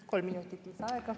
Kolm minutit lisaaega.